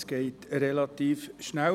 Das geht relativ schnell: